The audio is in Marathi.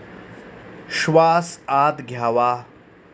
श्वास आत घ्यावा.